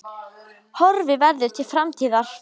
Horfi verður til framtíðar